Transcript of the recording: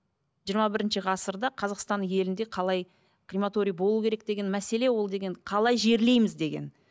жиырма бірінші ғасырда қазақстан елінде қалай крематорий болу керек деген мәселе ол деген қалай жерлейміз деген